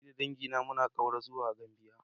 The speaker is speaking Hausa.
Ni da dangina muna ƙaura zuwa Gambia.